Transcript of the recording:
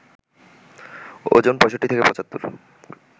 ওজন ৬৫ থেকে ৭৫ গ্রাম